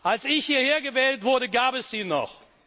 Als ich hierher gewählt wurde, gab es sie noch.